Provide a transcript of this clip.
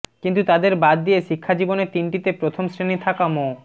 কিন্তু তাদের বাদ দিয়ে শিক্ষাজীবনের তিনটিতে প্রথম শ্রেণি থাকা মো